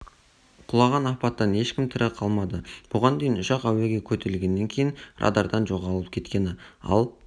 құлаған апаттан ешкім тірі қалмады бұған дейін ұшақ әуеге көтерілгеннен кейін радардан жоғалып кеткені ал